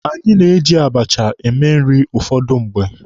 Anyị na-eji abacha eme nri ụfọdụ mgbe.